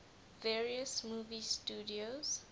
various movie studios